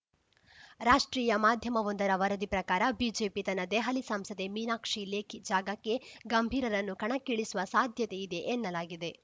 ರಾಷ್ಟ್ರೀಯ ಮಾಧ್ಯಮವೊಂದರ ವರದಿ ಪ್ರಕಾರ ಬಿಜೆಪಿ ತನ್ನ ದೆಹಲಿ ಸಂಸದೆ ಮೀನಾಕ್ಷಿ ಲೇಖಿ ಜಾಗಕ್ಕೆ ಗಂಭೀರರನ್ನು ಕಣಕ್ಕಿಳಿಸುವ ಸಾಧ್ಯತೆ ಇದೆ ಎನ್ನಲಾಗಿದೆ